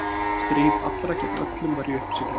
Stríð allra gegn öllum var í uppsiglingu.